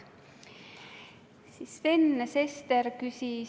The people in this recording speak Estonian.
Ma annaksin ülevaate, missugused küsimused komisjonis üles kerkisid.